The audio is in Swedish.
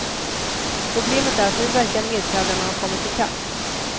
Problemet är att nu verkar medtävlarna ha kommit i kapp.